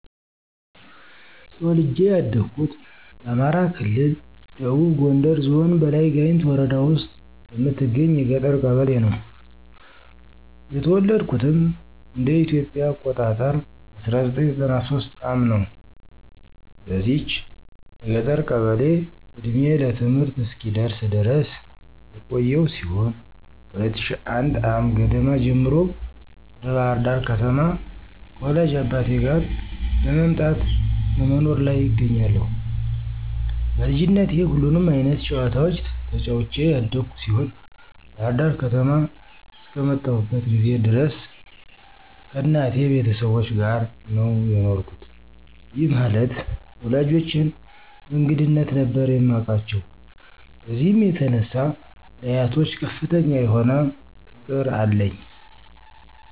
ተወልጄ ያደኩት በአማራ ክልል ደቡብ ጎንደር ዞን በላይ ጋይንት ወረዳ ውስጥ በምትገኝ የገጠር ቀበሌ ነው። የተወለድኩትም እንደ ኢትዮጵያ አቆጣጠር በ1993 ዓ/ም ነው። በዚች የገጠር ቀበሌ እድሜዬ ለትምህርት እስኪደርስ ድረስ የቆየው ሲሆን ከ2001 ዓ/ም ገደማ ጀምሮ ወደ ባህር ዳር ከተማ ከወላጅ አባቴ ጋር መምጣት በመኖር ላይ እገኛለሁ። በልጅነቴ ሁሉንም አይነት ጨዋታዎች ተጫዉቼ ያደኩ ሲሆን ባህር ዳር ከተማ አስከመጣሁበት ጊዜ ድረስ ከእናቴ ቤተሰቦች ጋር ነው የኖርኩት፤ ይህ ማለት ወላጆቼን በእንግድነት ነበር የማቃቸው። በዚህም የተነሳ ለአያቶች ከፍተኛ የሆነ ፍቅር አለኝ።